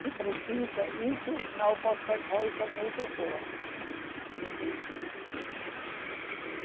Se precisa isso, não pode ser coisa muito boa, né. Uhum, uhum.